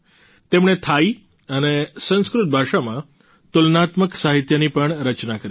તેમણે થાઈ અને સંસ્કૃત ભાષામાં તુલનાત્મક સાહિત્યની પણ રચના કરી છે